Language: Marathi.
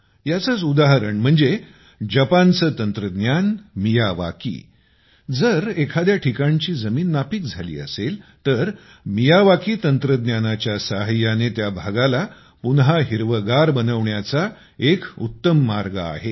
याचेच उदाहरण म्हणजे जपानचे तंत्रज्ञान मियावाकी जर एखाद्या ठिकाणची जमीन नापीक झाली असेल तर मियावाकी तंत्रज्ञानाच्या सहाय्याने त्या भागाला पुन्हा हिरवेगार बनवण्याचा एक उत्तम मार्ग आहे